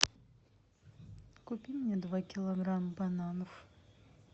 купи мне два килограмма бананов